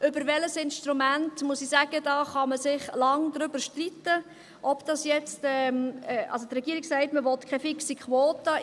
über welches Instrument – darüber, muss ich sagen, kann man sich lange streiten, ob dies nun … Also, die Regierung sagt, man wolle keine fixe Quote.